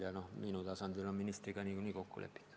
Minul on majandusministriga nagunii kokku lepitud.